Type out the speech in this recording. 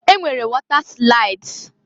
E nwere wọta slaịds.